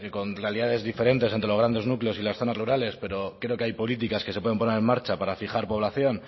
con realidades diferentes entre los grandes núcleos y las zonas rurales pero creo que hay políticas que se pueden poner en marcha para fijar población